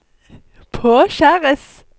påkjæres